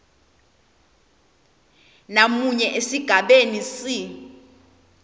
namunye esigabeni c